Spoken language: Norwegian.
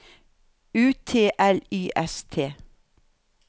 U T L Y S T